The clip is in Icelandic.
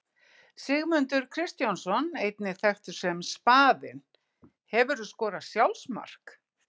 Sigmundur Kristjánsson einnig þekktur sem Spaðinn Hefurðu skorað sjálfsmark?